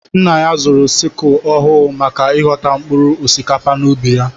Nna ya zụrụ sikul ọhụụ maka ighọta mkpụrụ osikapa n'ubi ya.